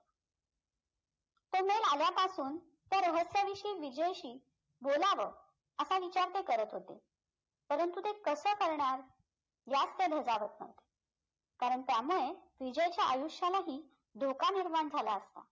तो mail आल्यापासून त्या रहस्याविषयी विजयशी बोलावं असा विचार ते करत होते परंतु ते कसं करणार यात ते नवते कारण त्यामुळे विजयच्या आयुष्यालाही धोका निर्माण झाला असता